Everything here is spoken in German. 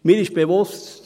Mir ist bewusst: